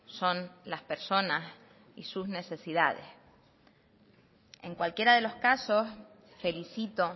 son las personas y sus necesidades en cualquiera de los casos felicito